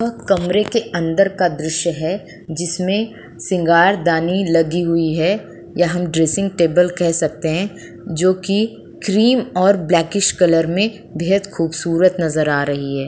व कमरे के अंदर का दृश्य है जिसमें सिंगारदानी लगी हुई है या हम ड्रेसिंग टेबल कह सकते हैं जोकि क्रीम और ब्लैकिश कलर में बेहद खूबसूरत नजर आ रही है।